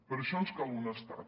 per això ens cal un estat